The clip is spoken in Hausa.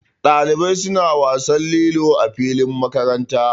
Dalibai suna wasan lilo a filin makaranta.